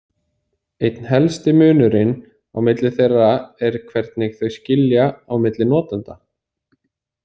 Einn helsti munurinn á milli þeirra er hvernig þau skilja á milli notenda.